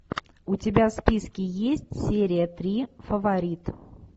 у тебя в списке есть серия три фаворит